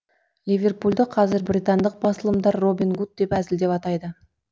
ливерпульді қазір британдық басылымдар робин гуд деп әзілдеп атайды